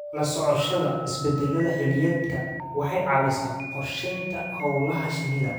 La socoshada isbeddellada xilliyeedka waxay caawisaa qorshaynta hawlaha shinnida.